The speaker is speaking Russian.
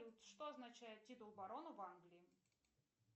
что означает титул барона в англии